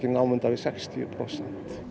námunda við sextíu prósent